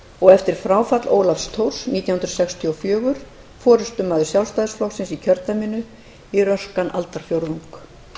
og eftir fráfall ólafs thors nítján hundruð sextíu og fjögur forustumaður sjálfstæðisflokksins í kjördæminu í röskan aldarfjórðung